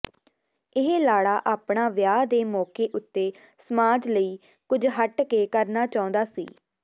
ਇਹ ਲਾੜਾ ਆਪਣਾ ਵਿਆਹ ਦੇ ਮੌਕੇ ਉੱਤੇ ਸਮਾਜ ਲਈ ਕੁੱਝ ਹੱਟ ਦੇ ਕਰਣਾ ਚਾਹੁੰਦਾ ਸੀ